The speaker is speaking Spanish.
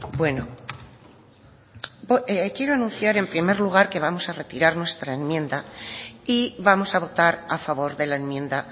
bueno quiero anunciar en primer lugar que vamos a retirar nuestra enmienda y vamos a votar a favor de la enmienda